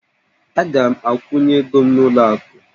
Aga m akwụnye ego m n'ụlọ akụ